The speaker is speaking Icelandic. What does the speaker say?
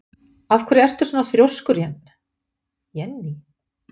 Af hverju ertu svona þrjóskur, Jenný?